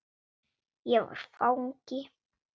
Ég var fangi.